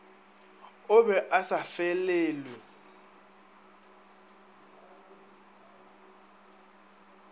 o be a sa felelwe